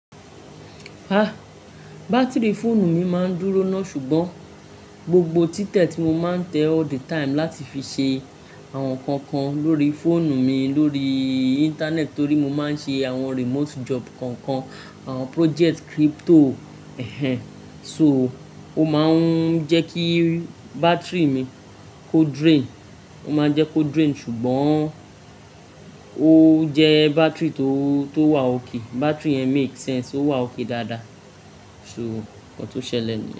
Ah, bátìrì fóònù mi máa ń dúró náà ṣùgbọ́n gbogbo títẹ tí mo máa ń tẹ all the time láti fi ṣe àwọn nǹkan kan lórí fóònù mi lórí íńtánẹ́ẹ̀tì torí mo máa ń ṣe àwọn remote job kankan, àwọn project crypto. Ẹ̀hẹn. So, ó máa ń jẹ́ kí bátìrì mi kó drain, ó máa ń jẹ́ kó drain ṣùgbọ́n ó jẹ bátìrì tó, tó wà okay. Bátìrì yẹn makes sense, ó wà okè dáadáa. So, ohun tó ṣẹlẹ̀ ni.